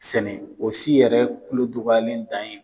Sɛnɛ o si yɛrɛ kulo dɔgɔlen dan ye